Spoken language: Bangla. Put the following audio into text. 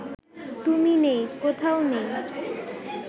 তুমি নেই, কোথাও নেই